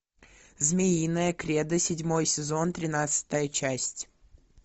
змеиное кредо седьмой сезон тринадцатая часть